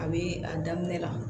A bee a daminɛ la